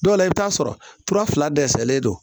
Dɔw la i bɛ t'a sɔrɔ tura fila dɛsɛlen don